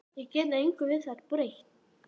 Ég get engu við þær bætt.